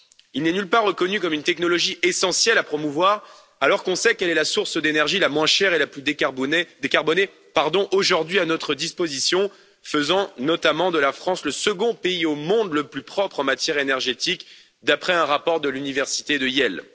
Il n'est nulle part reconnu comme une technologie essentielle à promouvoir, alors qu'on sait qu'elle est la source d'énergie la moins chère et la plus décarbonée aujourd'hui à notre disposition, faisant notamment de la France le second pays au monde le plus propre en matière énergétique, d'après un rapport de l'université de Yale.